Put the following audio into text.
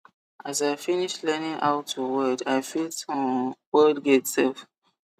as i finish learning how to weld i fit um weld gate sef